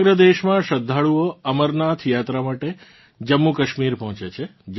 સમગ્ર દેશમાં શ્રદ્ધાળુઓ અમરનાથ યાત્રા માટે જમ્મૂકાશ્મીર પહોંચે છે